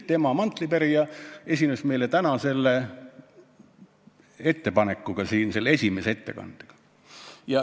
Täna esines siin tema mantlipärija esimese ettekandega.